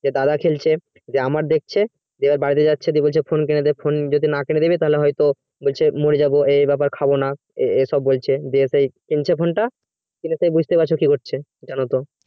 দাদা খেলছে আমার দেখছে যদি phone যদি কিনে না দেয় তাহলে হয়তো মোর যাবো খাওয়া দাওয়া করবো না সব বলছে কিনছে কোনটা সেটা বুঝতে পারছো